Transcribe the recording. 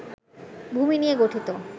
ভূমি নিয়ে গঠিত